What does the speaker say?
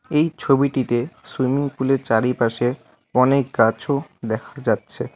এই ছবিটিতে সুইমিং পুলের চারিপাশে অনেক গাছও দেখা যাচ্ছে।